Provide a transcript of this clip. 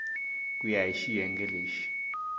ku ya hi xiyenge lexi